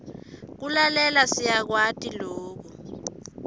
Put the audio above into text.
kulalela siyakwati loku